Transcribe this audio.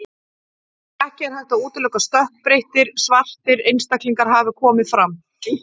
Ekki er hægt að útiloka að stökkbreyttir, svartir einstaklingar hafi komið fram.